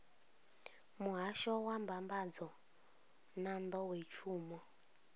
muhasho wa mbambadzo na nḓowetshumo